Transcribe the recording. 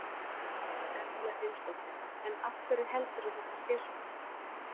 Erla Hlynsdóttir: En af hverju heldurðu að þetta sé svona?